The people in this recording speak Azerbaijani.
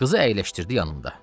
Qızı əyləşdirdi yanında.